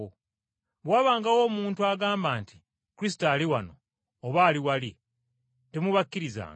Bwe wabangawo omuntu agamba nti, ‘Kristo ali wano, oba ali wali,’ temubakkirizanga.